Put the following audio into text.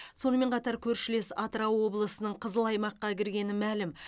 сонымен қатар көршілес атырау облысының қызыл аймаққа кіргені мәлім